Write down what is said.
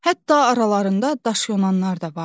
Hətta aralarında daşyonanlar da vardı.